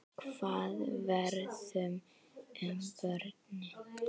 Hvað verður um börnin?